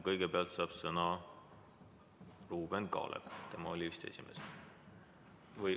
Kõigepealt saab sõna Ruuben Kaalep, tema oli vist esimene.